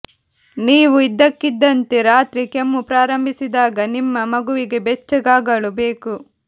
ನೀವು ಇದ್ದಕ್ಕಿದ್ದಂತೆ ರಾತ್ರಿ ಕೆಮ್ಮು ಪ್ರಾರಂಭಿಸಿದಾಗ ನಿಮ್ಮ ಮಗುವಿಗೆ ಬೆಚ್ಚಗಾಗಲು ಬೇಕು